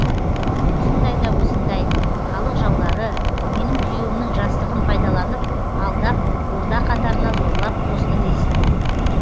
осындай да осындай халық жаулары менің күйеуімнің жастығын пайдаланып алдап орда қатарына зорлап қосты десін